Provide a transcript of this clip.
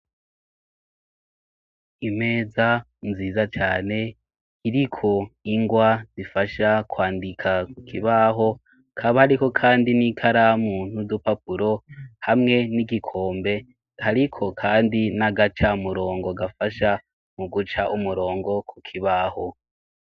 Imeza nziza cane iriko ingwa zifasha kwandika kukibaho, kaba ariko kandi n'ikaramu n'udupapuro ,hamwe n'igikombe ariko kandi n'agaca murongo gafasha mu guca umurongo ku kibaho.